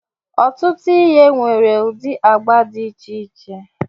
Ọtụtụ ihe nwere ụdị agba dị iche iche.